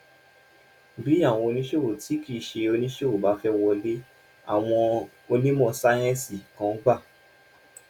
bí àwọn oníṣòwò tí kì í ṣe oníṣòwò bá fẹ́ wọlé àwọn onímọ̀ sáyẹ́ǹsì kan gbà